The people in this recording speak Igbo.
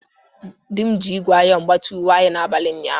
Di m ji ígwè iyonu gbatia uwe anyi n’abalị ụnyaahụ.